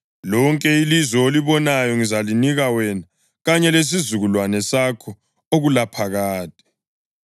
Lonke ilizwe olibonayo ngizalinika wena kanye lesizukulwane sakho okulaphakade.